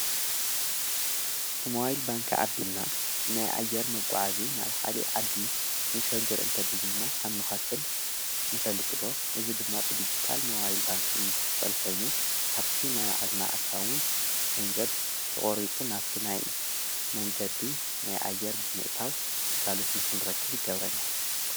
ብመዋይል ባንካ ኣቢልና ናይ ኣየር መጕዓ እዙ ናብ ካሊእ ዓዲ ኽንሽሕግር እንተደልና ንኸፍል ንፈልጥዶ ?እዝ ድማ ብዲጅታል ሞባይል ባንክን ዝኽፈል ኾይኑ ካብቲ ናይ በዓልና ኣካውንት ገንዘብ ተቖሪፁ ናፍቲ ናይይ መንገዲ ናይ ኣየር ብምእታው ግልጋሎት ንኽንረክብ ይገብረና።